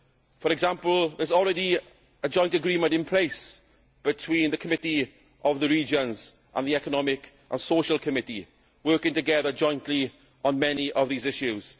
For example, there is already a joint agreement in place between the Committee of the Regions and the Economic and Social Committee working together jointly on many of these issues.